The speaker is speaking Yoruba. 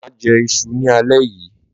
Máà jẹ iṣu ní alẹ́ yíi.